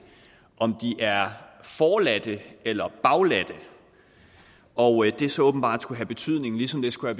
om de er forladte eller bagladte og det skulle så åbenbart have betydning ligesom det skulle